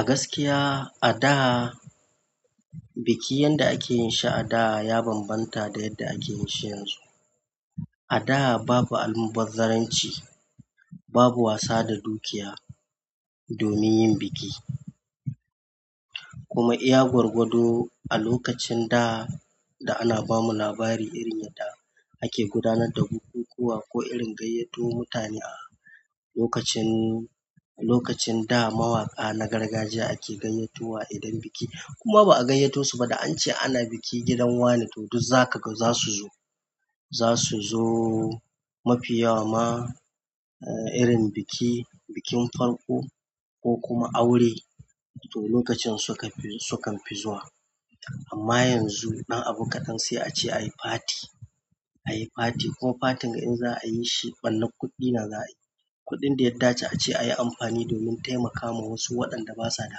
A gaskiya a da buki yanda ake yin shi ada ya banbanta da yanda akeyi shi yanzu a da babu almubazzaranci, babu wasa da dukiya domin yin biki. Kuma iya gwargwado a lokacin daa da ana bamu labari irin yadda ake gudanar da bukukuwa, ko irin gayyato mutane a lokacin daa mawaƙa na gargajiya ake gayyatowa idan buki ko ma ba a gayyato su ba da an ce ana bikin gidan wane, to duk za ka, za su zo. Za su zo mafiya wan ma, eh, irin biki, bikin farko ko kuma aure to lokacin su kan, su ka fi zuwa. Amma yanzu dan abu kaɗan sai aje ayi party, kuma party in za a yishi barnar kuɗi ne za ayi, kuɗin ya dace ace anyi amfani domin taimaka wasu waenda basu da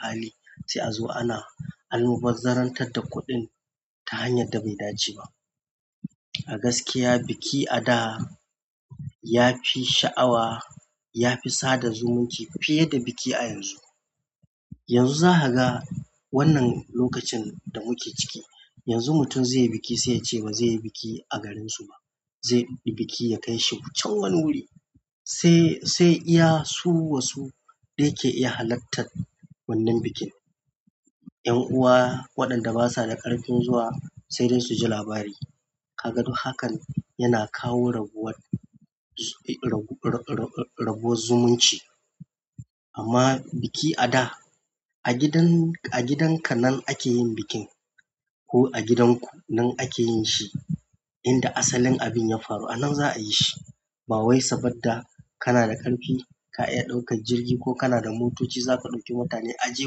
hali sai azo ana albazarantar da kuɗin ta hanyan da bai dace ba. A gaskiya biki a da ya fi sha'awa, ya fi sada zumunci fiye da biki a yanzu. Yanzu za ka ga wannan lokacin da muke ciki, yanzu mutum zai yi biki sai ya ce ba zai yi biki a garinsu ba, zai ɗauki biki ya kai shi can wani wuri. Sai, sai iya su wasu de ke iya halartar wannan bikin. 'Yan'uwa waɗanda basa da ƙarfin zuwa sai dai su ji labari. Kaga duk hakan yana kawo rabuwar, rabuwar zumunci. Amma biki a da a gidan, a gidan ka nan ake yin bikin ko a gidan ku nan ake yin shi. Inda asalin abin ya faru a nan za a yi shi. Ba wai saboda kana da ƙarfi ka iya ɗaukar jirgi ko kana da motoci za ka ɗauki mutane a je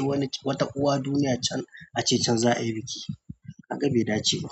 wani wata uwa duniya can a ce can za a yi biki. Kaga bai dace ba.